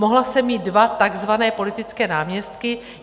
Mohla jsem mít dva takzvané politické náměstky.